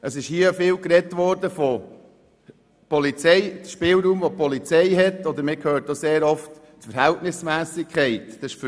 Hier wurde viel vom Spielraum der Polizei und von Verhältnismässigkeit gesprochen.